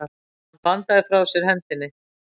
Hann bandaði frá sér hendinni.